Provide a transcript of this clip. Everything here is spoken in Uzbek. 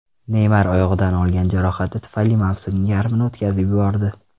Neymar oyog‘idan olgan jarohati tufayli mavsumning yarmini o‘tkazib yubordi.